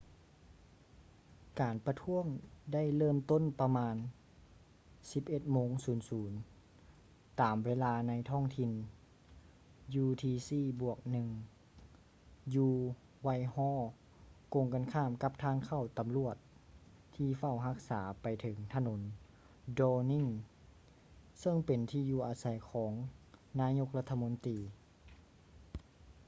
ການປະທ້ວງໄດ້ເລີ່ມຕົ້ນປະມານ 11:00 ໂມງຕາມເວລາໃນທ້ອງຖິ່ນ utc+1 ຢູ່ whitehall ກົງກັນຂ້າມກັບທາງເຂົ້າຕຳຫຼວດທີ່ເຝົ້າຮັກສາໄປເຖິງຖະໜົນ downing ເຊິ່ງເປັນທີ່ຢູ່ອາໄສຂອງນາຍົກລັດຖະມົນຕີ